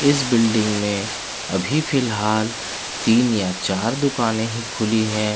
इस बिल्डिंग में अभी फ़िलहाल तीन या चार दुकान ही खुली है।